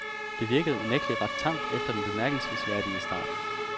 Det virkede unægtelig ret tamt efter den bemærkelsesværdig start.